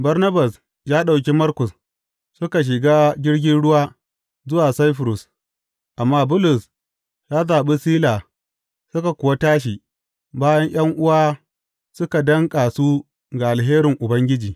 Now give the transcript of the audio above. Barnabas ya ɗauki Markus suka shiga jirgin ruwa zuwa Saifurus, amma Bulus ya zaɓi Sila suka kuwa tashi, bayan ’yan’uwa suka danƙa su ga alherin Ubangiji.